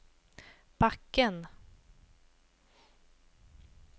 backen